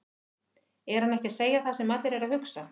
Er hann ekki að segja það sem allir eru að hugsa?